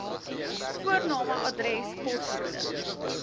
voorname adres poskode